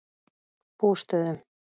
Bústöðum